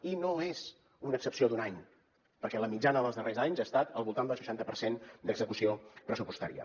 i no és una excepció d’un any perquè la mitjana dels darrers anys ha estat al voltant del seixanta per cent d’execució pressupostària